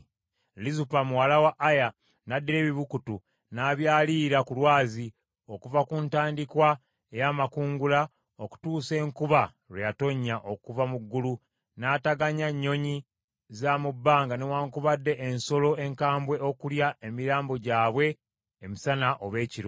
Lizupa muwala wa Aya n’addira ebibukutu, n’abyaliira ku lwazi, okuva ku ntandikwa ey’amakungula okutuusa enkuba lwe yatonnya okuva mu ggulu, n’ataganya nnyonyi za mu bbanga newaakubadde ensolo enkambwe okulya emirambo gyabwe emisana oba ekiro.